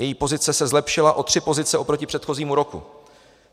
Její pozice se zlepšila o tři pozice oproti předchozímu roku.